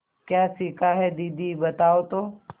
क्या सीखा है दीदी बताओ तो